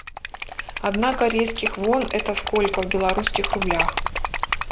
одна корейских вон это сколько в белорусских рублях